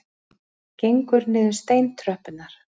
Gengur niður steintröppurnar.